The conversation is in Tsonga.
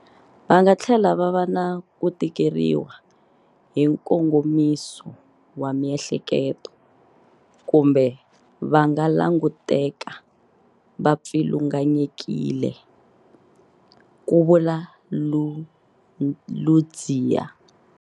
Va nga tlhela va va na ku tikeriwa hi nkongomiso wa miehleketo kumbe va nga languteka va pfilunganyekile, ku vula Ludziya.